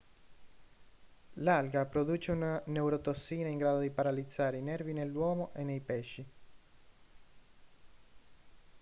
l'alga produce una neurotossina in grado di paralizzare i nervi nell'uomo e nei pesci